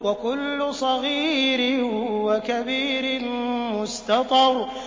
وَكُلُّ صَغِيرٍ وَكَبِيرٍ مُّسْتَطَرٌ